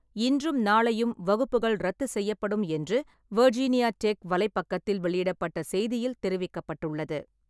இன்றும் நாளையும் வகுப்புகள் ரத்து செய்யப்படும் என்று வெர்ஜீனியா டெக் வலைப்பக்கத்தில் வெளியிடப்பட்ட செய்தியில் தெரிவிக்கப்பட்டுள்ளது.